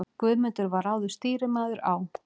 Guðmundur var áður stýrimaður á